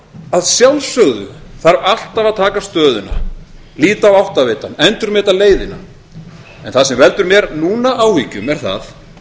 að sjálfsögðu þarf alltaf að taka stöðuna líta á áttavitann endurmeta leiðina en það sem veldur mér núna áhyggjum er það